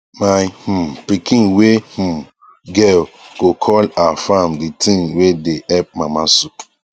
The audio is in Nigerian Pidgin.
my um pikin wae um girl go call her farm the thing wae dae help mama soup